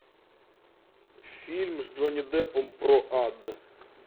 фильм с джонни деппом про ад